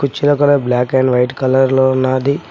కుర్చీల colour black and white colour లో ఉన్నాది.